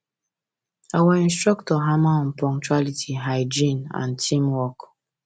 our instructor hammer on punctuality hygiene and teamwork